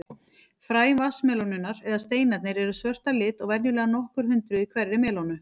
Fræ vatnsmelónunnar, eða steinarnir, eru svört að lit og venjulega nokkur hundruð í hverri melónu.